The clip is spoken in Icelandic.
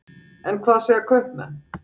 En hvað segja kaupmenn?